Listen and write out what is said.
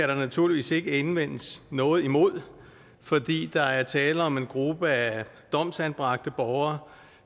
der naturligvis ikke indvendes noget imod fordi der er tale om en gruppe af domsanbragte borgere